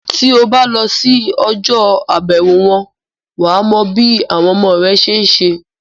Tí o bá lọ sí ọjọ́-àbẹ̀wò wọn, wà á mọ bí àwọn ọmọ rẹ ṣe ń se.